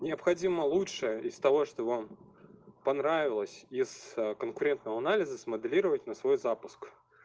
необходимо лучшее из того что вам понравилось из конкурентного анализа смоделировать на свой запуск